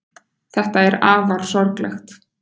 Þetta er afar sorglegt.